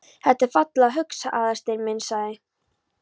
Þetta er fallega hugsað, Aðalsteinn minn sagði